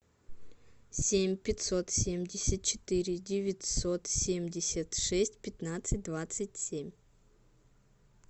семь пятьсот семьдесят четыре девятьсот семьдесят шесть пятнадцать двадцать семь